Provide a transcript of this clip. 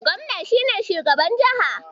Gobna shi ne shugaban jiha